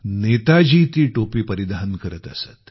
नेताजी ती टोपी परिधान करत असत